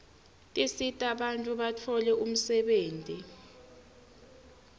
tisita bantfu batfole umsebenti